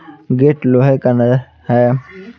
Gate लोहे का न है।